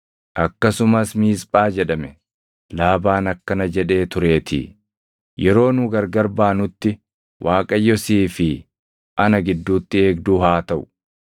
Akkasumas Miisphaa jedhame; Laabaan akkana jedhee tureetii; “Yeroo nu gargar baanutti Waaqayyo sii fi ana gidduutti eegduu haa taʼu.